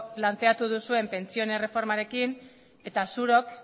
planteatu duzuen pentsioen erreformarekin eta zuok